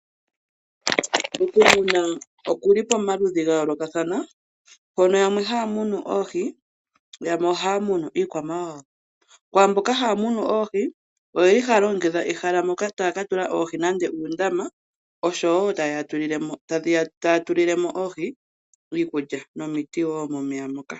Okumuna okuli pomaludhi ga yoolokathana mpono yamwe haya munu oohi yo yamwe ohaya munu iikwamawawa. Kwaamboka haya munu oohi oyeli haya longekidha ehala moka taya ka tula oohi nande uundama oshowo taya tulilemo oohi iikulya nomiti woo momeya moka.